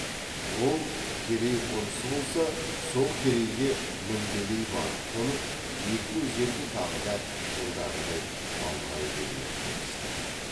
ол керей қонысы болса сол керейге мінбелей барып қонып екі өзенді тағы да жылдағыдай баурай бермек болысты